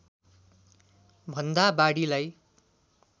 भन्दा बढीलाई